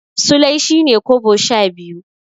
Sulai shine kobo sha biyu.